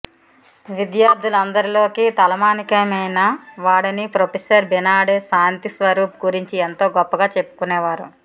తన విద్యార్థులందరిలోకి తలమానికమైన వాడని ప్రొఫెసర్ బినాడే శాంతిస్వరూప్ గురించి ఎంతో గొప్పగా చెప్పుకునేవారు